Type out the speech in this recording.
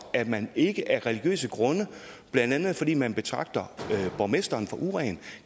at man ikke af religiøse grunde blandt andet fordi man betragter borgmesteren som uren